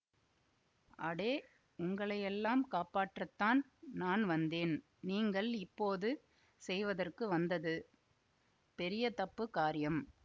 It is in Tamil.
அடே உங்களையெல்லாம் காப்பாற்றத்தான் நான் வந்தேன் நீங்கள் இப்போது செய்வதற்கு வந்தது பெரிய தப்புக் காரியம்